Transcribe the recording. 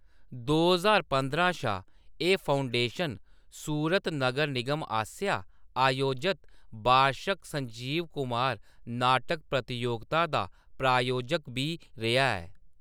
दो ज्हार पंदरां शा एह्‌‌ फाउंडेशन सूरत नगर निगम आसेआ आयोजत बार्शक संजीव कुमार नाटक प्रतियोगता दा प्रायोजक बी रेहा ऐ।